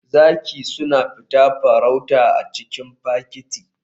Zaki suna farauta tare a cikin fakiti.